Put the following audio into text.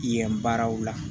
Yen baaraw la